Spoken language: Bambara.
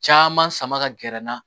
Caman sama ka gɛrɛ n na